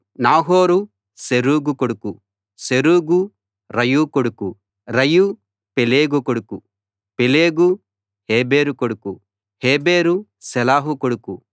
నాహోరు Serug కొడుకు Serug Reu కొడుకు Reu Peleg కొడుకు పెలెగు హెబెరు కొడుకు హెబెరు షేలహు కొడుకు